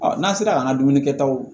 n'an sera k'an ka dumuni kɛtaw